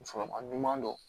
Musokɔrɔba ɲuman do